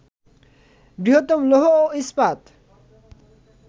বৃহত্তম লৌহ ও ইস্পাত